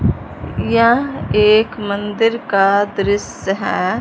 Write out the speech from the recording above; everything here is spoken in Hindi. यह एक मंदिर का दृश्य है।